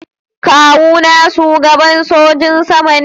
Kawu na shugaban sojin sama ne.